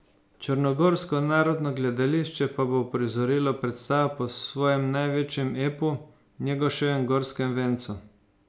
Črnogorsko narodno gledališče pa bo uprizorilo predstavo po svojem največjem epu, Njegoševem Gorskem vencu.